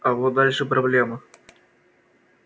а вот дальше проблема